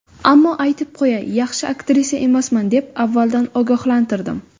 Ammo aytib qo‘yay, yaxshi aktrisa emasman deb avvaldan ogohlantirdim.